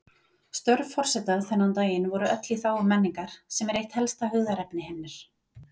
Störf forseta þennan daginn voru öll í þágu menningar, sem er eitt helsta hugðarefni hennar.